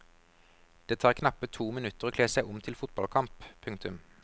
Det tar knappe to minutter å kle seg om til fotballkamp. punktum